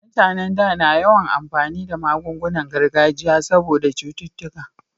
Mutanen da na yawan amfani da magungunan gargajiya saboda cututtuka